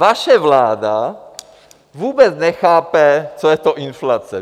Vaše vláda vůbec nechápe, co je to inflace.